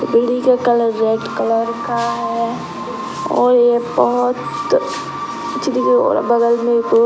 का colour red colour का है और ये बहोत --